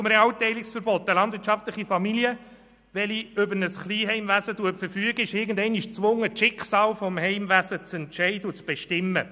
Zum Realteilungsverbot: Eine landwirtschaftliche Familie, die über ein Kleinheimwesen verfügt, ist irgendwann einmal gezwungen, das Schicksal ihres Heimwesens zu entscheiden und zu bestimmen.